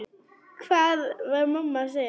Hvað var mamma að segja?